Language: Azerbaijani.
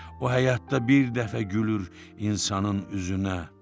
O həyatda bir dəfə gülür insanın üzünə.